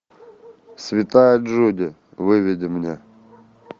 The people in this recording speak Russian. святая джуди выведи мне